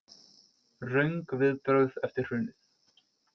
Röng viðbrögð eftir hrunið